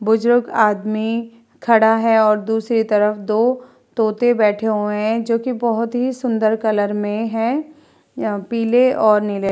बजुर्ग आदमी खड़ा है और दूसरी तरफ दो तोते बैठे हुए हैं जोकि बहोत ही सुन्दर कलर में है पीले और नीले।